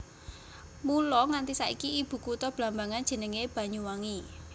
Mula nganti saiki ibukutha Blambangan jenenge Banyuwangi